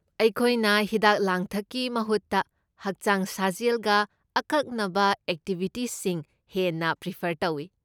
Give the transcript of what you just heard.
ꯑꯩꯈꯣꯏꯅ ꯍꯤꯗꯥꯛ ꯂꯥꯡꯊꯛꯀꯤ ꯃꯍꯨꯠꯇ ꯍꯛꯆꯥꯡ ꯁꯥꯖꯦꯜꯒ ꯑꯀꯛꯅꯕ ꯑꯦꯛꯇꯤꯚꯤꯇꯤꯁꯤꯡ ꯍꯦꯟꯅ ꯄ꯭ꯔꯤꯐꯔ ꯇꯧꯏ꯫